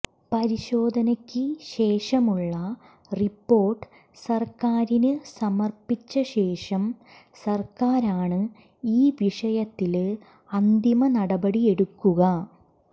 പരിശോധനക്ക് ശേഷമുള്ള റിപ്പോര്ട്ട് സര്ക്കാരിന് സമര്പ്പിച്ച ശേഷം സര്ക്കാരാണ് ഈ വിഷയത്തില് അന്തിമ നടപടിയെടുക്കുക